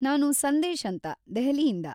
ನಾನು ಸಂದೇಶ್‌ ಅಂತ ದೆಹಲಿಯಿಂದ.